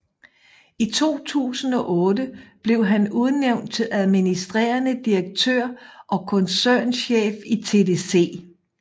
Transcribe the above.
I 2008 blev han udnævnt til administrerende direktør og koncernchef i TDC